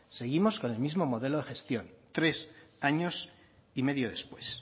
seguimos con el mismo modelo de gestión tres años y medio después